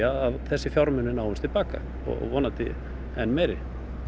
að þessir fjármunir náist til baka og vonandi enn meiri